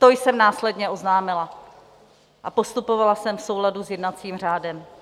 To jsem následně oznámila a postupovala jsem v souladu s jednacím řádem.